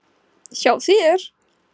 Hjá þér.